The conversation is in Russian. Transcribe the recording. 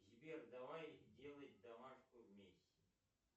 сбер давай делать домашку вместе